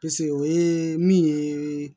Pese o ye min ye